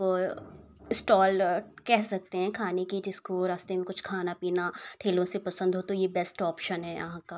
ओय स्टॉल केह सकते हैं खाने की। जिसको रास्ते में कुछ खाना पीना ठेलो से पसंद हो तो ये बेस्ट ऑप्शन है यहां का।